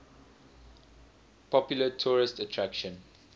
popular tourist attraction